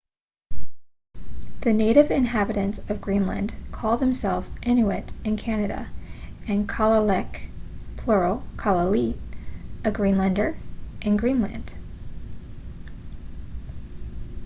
the native inhabitants of greenland call themselves inuit in canada and kalaalleq plural kalaallit a greenlander in greenland